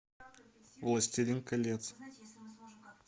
властелин колец